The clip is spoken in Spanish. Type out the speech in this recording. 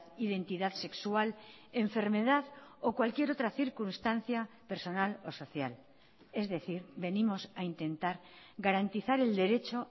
identidad sexual enfermedad o cualquier otra circunstancia personal o social es decir venimos a intentar garantizar el derecho